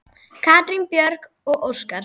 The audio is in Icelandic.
Katrín Björg og Óskar.